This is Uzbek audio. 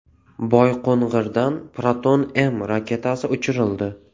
Boyqo‘ng‘irdan Proton-M raketasi uchirildi.